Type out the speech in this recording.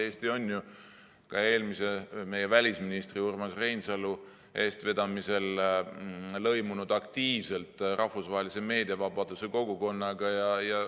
Eesti ju ka eelmise välisministri Urmas Reinsalu eestvedamisel lõimus aktiivselt rahvusvahelise meediavabaduse kogukonnaga.